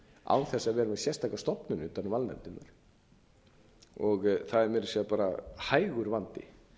vera með sérstaka stofnun utan um valnefndirnar það er meira að segja bara hægur vandi